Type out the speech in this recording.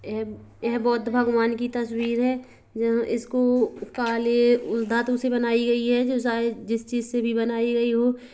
ऐ ऐ बौद्ध भगवान की तस्वीर हैजहाँ इसको काले उ धातु से बनाई गई है जो शायद जिस चीज़ से भी बनाई गई हो ।